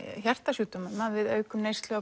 hjartasjúkdómum að við aukum neyslu á